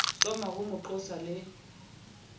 soma ho mo qosa le